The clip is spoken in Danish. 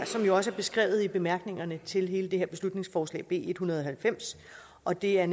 som jo også er beskrevet i bemærkningerne til hele det her beslutningsforslag b en hundrede og halvfems og det er